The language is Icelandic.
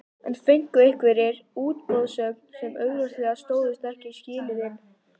En fengu einhverjir útboðsgögn sem augljóslega stóðust ekki skilyrðin?